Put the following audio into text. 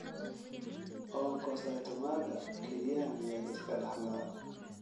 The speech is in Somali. Onkocytomaga kelyaha miyaa la iska dhaxlaa?